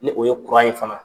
Ni o ye in faga